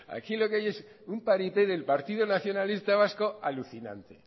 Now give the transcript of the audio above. aquí lo que hay es un paripé del partido nacionalista vasco alucinante